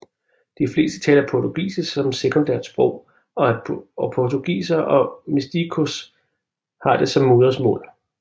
De fleste taler portugisisk som sekundært sprog og portugisere og mestiços har det som modersmål